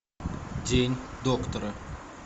день доктора